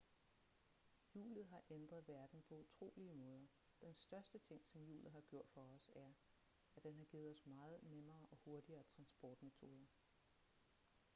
hjulet har ændret verden på utrolige måder den største ting som hjulet har gjort for os er at den har givet os meget nemmere og hurtigere transportmetoder